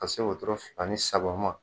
Ka se wotoro fila ni saba ma.